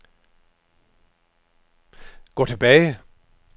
gå tilbage